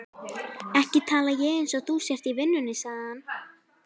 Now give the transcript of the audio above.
Ekki tala eins og þú sért í vinnunni, sagði hann.